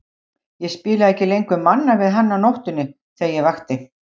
Ég spilaði ekki lengur Manna við hann á nóttunni þegar ég vakti.